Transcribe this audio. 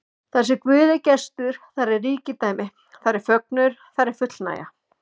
Þarsem Guð er gestur, þar er ríkidæmi, þar er fögnuður, þar er fullnægja.